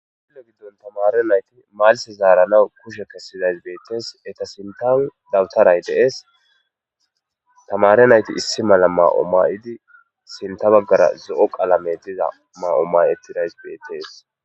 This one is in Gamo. Gillo giddon tamare nayti malse zaaranaw kushe kessidays beettees eta sintan dawutaray deees tamare nayti issi mala maa7o may7idi sinta baggara zo7o qalame diza ma7o mayettidays beettees